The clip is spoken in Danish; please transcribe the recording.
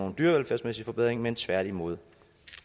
en dyrevelfærdsmæssig forbedring men tværtimod